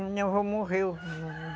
Minha avó morreu.